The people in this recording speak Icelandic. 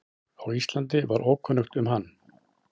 á Íslandi var ókunnugt um hann.